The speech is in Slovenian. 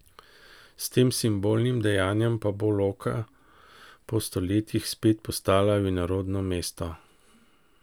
S tem simbolnim dejanjem pa bo Loka po stoletjih spet postala vinorodno mesto.